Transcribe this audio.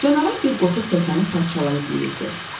Canavar bir qotur təkəni parçalayıb yeyirdi.